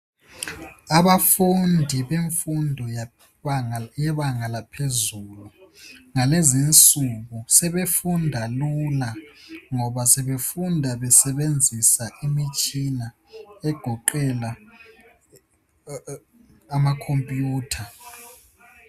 Abafundi bemfundo yebanga laphezuu ngalezinsuku sebefunda lula ngoba befunda besebenzisa imitshina egoqela amakhompiyutha.